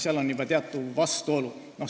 Seal on juba teatud vastuolu.